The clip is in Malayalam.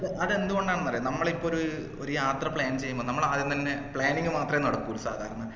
അതെന്തുകൊണ്ടാണെന്ന് അറിയോ നമ്മളിപ്പോ ഒരു ഒര് യാത്ര plan ചെയ്യുമ്പം നമ്മൾ ആദ്യം തന്നെ planning മാത്രെ നടക്കു സാധാരണ